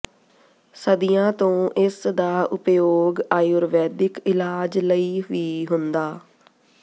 ਸਦੀਆਂ ਤੋਂ ਇਸਦਾ ਉਪਯੋਗ ਆਯੁਰਵੈਦਿਕ ਇਲਾਜ ਲਈ ਵੀ ਹੁੰਦਾ